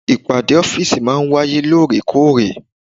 Ìpàdé ọ́fìsì maa ń wáyé ní òrèkóòrè